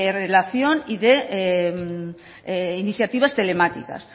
relación y de iniciativas telemáticas